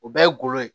O ye golo ye